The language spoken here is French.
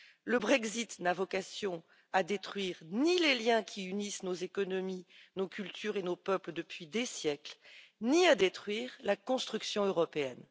Le Brexit n'a vocation à détruire ni les liens qui unissent nos économies, nos cultures et nos peuples depuis des siècles, ni à détruire la construction européenne.